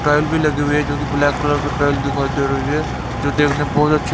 tile भी लगी हुई जोकि ब्लैक कलर की टाईल दिखाई दे रही है जो देखने में बहुत अच्छी--